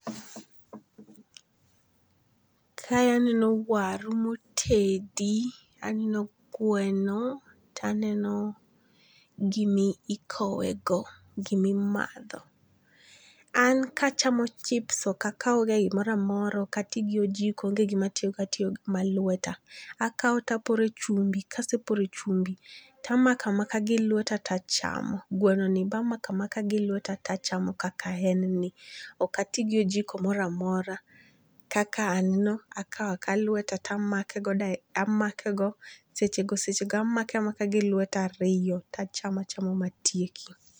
Kae aneno waru motedi ,aneno gweno to aneno gimikowego gimimatho, an kachamo chips oka kawga gimoro amora okati gi ojiko onge' gima atiyogo atiyogi mana lweta, akawo to aporoe chumbi kasepore e chumbi to amako amaka gi lweta to achamo, gwenoni be amaka amaka gi lweta to achamo achamoa kamaeni, okati gi ojiko mora mora kaka anno akawo kawa lueta tamake godo amakego sechego sechego amake amaka gi lweta ariyo tachamo achama matieki.